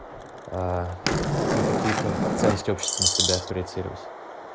а не какие-то ценности общества на себя проецируют